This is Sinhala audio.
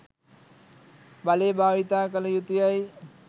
බලය භාවිතා කළ යුතුයැයි